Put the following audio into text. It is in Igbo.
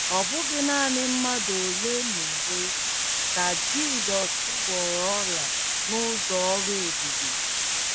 Ọ bụghị nanị mmadụ ole na ole ka Jizọs gwọrọ ọrịa n’ụzọ ọrụ ebube.